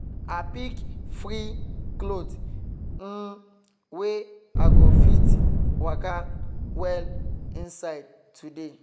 i pick free cloth um wey i go fit waka well inside today